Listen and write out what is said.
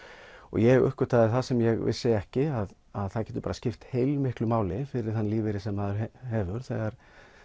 ég uppgötvaði það sem ég vissi ekki að það getur bara skipt heilmiklu máli fyrir þann lífeyri sem maður hefur þegar